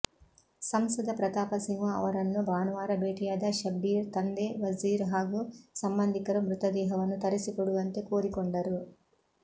ಸಂಸದ ಪ್ರತಾಪಸಿಂಹ ಅವರನ್ನು ಭಾನುವಾರ ಭೇಟಿಯಾದ ಶಬ್ಬೀರ್ ತಂದೆ ವಜೀರ್ ಹಾಗೂ ಸಂಬಂಧಿಕರು ಮೃತದೇಹವನ್ನು ತರಿಸಿಕೊಡುವಂತೆ ಕೋರಿಕೊಂಡರು